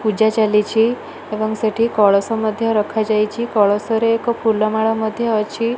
ପୂଜା ଜଲିଛି ଏବଂ ସେଠି କଳସ ମଧ୍ୟ ରଖା ଯାଇଛି। କଳସ ରେ ଏକ ଫୁଲ ମାଳ ମଧ୍ୟ ଅଛି।